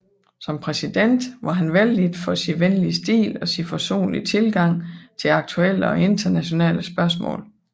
Som præsident var han vellidt for sin venlige stil og sin forsonlige tilgang til aktuelle og internationale spørgsmål